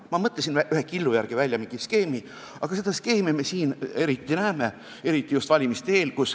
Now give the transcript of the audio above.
" Ma mõtlesin ühe killu järgi välja mingi skeemi ja seda skeemi me siin näeme eriti just valimiste eel.